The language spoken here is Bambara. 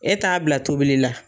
E t'a bila tobili la.